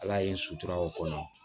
Ala ye sutura o kɔnɔ